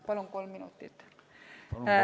Palun kolm minutit!